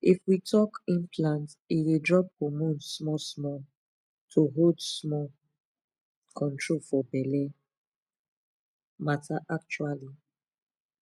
if we talk implant e dey drop hormone smallsmall to hold small pause control for belle matter actually